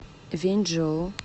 вэньчжоу